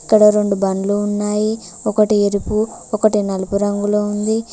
ఇక్కడ రెండు బండ్లు ఉన్నాయి ఒకటి ఎరుపు ఒకటి నలుపు రంగులో ఉంది.